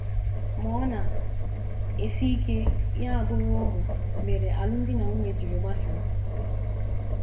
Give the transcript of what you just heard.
Ma ọ na - esi ike tupu ya abụrụ ụmụ mere alụmdi na nwunye jiri gbasaa.